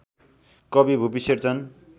कवि भुपि शेरचन